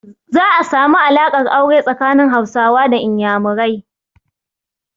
Za a samu alaƙar aure tsakanin Hausawa da Inyamurai.